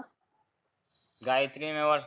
Gayatri Mewar.